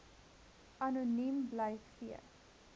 anoniem bly gee